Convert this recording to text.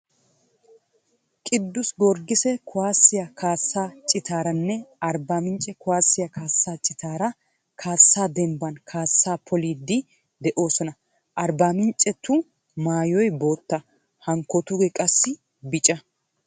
Qiduse Gorggisiya kuwaasiya kaassaa citaaranne Arbbaamincce kuwaasiya kaassaa citaara kaassa denbban kaassaa poliiddi de'oosona. Arbbaaminccetu maayoy bootta. Hankkootuugee qassi bica.